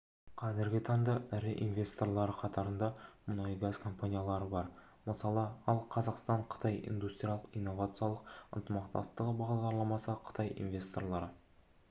қазіргі таңда ірі инвесторлары қатарында мұнай-газ компаниялары бар мысалы ал қазақстан-қытай индустриялық-инновациялық ынтымақтастығы бағдарламасы қытайлық инвесторлары